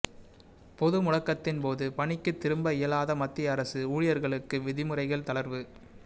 பொது முடக்கத்தின்போது பணிக்குத் திரும்ப இயலாத மத்திய அரசு ஊழியர்களுக்கு விதிமுறைகளில் தளர்வு